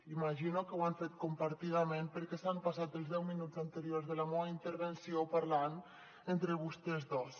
imagino que ho han fet compartidament perquè s’han passat els deu minuts anteriors a la meua intervenció parlant entre vostès dos